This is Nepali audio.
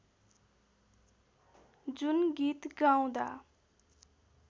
जुन गीत गाउँदा